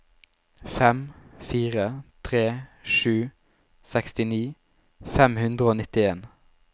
fem fire tre sju sekstini fem hundre og nittien